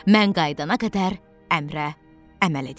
Mən qayıdana qədər əmrə əməl edin.